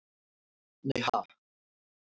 Nei ha?